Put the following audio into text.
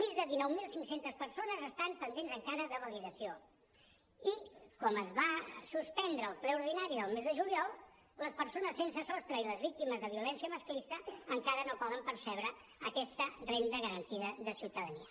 més de dinou mil cinc cents persones estan pendents encara de validació i com que es va suspendre el ple ordinari del mes de juliol les persones sense sostre i les víctimes de violència masclista encara no poden percebre aquesta renda garantida de ciutadania